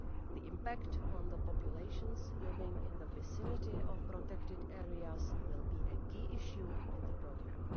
The impact on the populations living in the vicinity of protected areas will be a key issue in the programme.